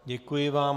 Děkuji vám.